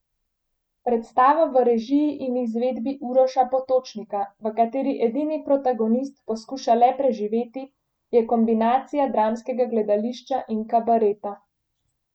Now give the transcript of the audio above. Predstava v režiji in izvedbi Uroša Potočnika, v kateri edini protagonist poskuša le preživeti, je kombinacija dramskega gledališča in kabareta.